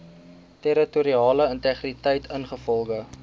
territoriale integriteit ingevolge